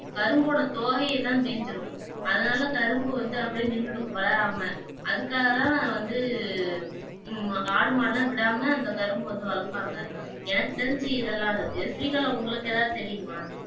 கரும்போட தோகையை தான் மேய்ந்துவிடும் அதனால கரும்பு வந்து அப்படி நின்னுடும் வளராம அதுக்காகத்தான் வந்து உம் ஆடு மாடு எல்லாம் விடாம அந்த கரும்ப வந்து வளப்பாங்க எனக்குத் தெரிஞ்சு இதெல்லாம் இருக்கு ஸ்ரீஹலா உங்களுக்கு ஏதாவது தெரியுமா?